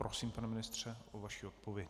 Prosím, pane ministře o vaši odpověď.